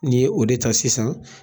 N'i ye o de ta sisan